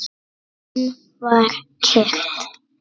Enn var kyrrt.